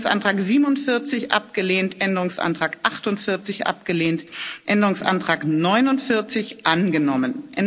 Änderungsantrag 47 abgelehnt Änderungsantrag 48 abgelehnt Änderungsantrag 49 angenommen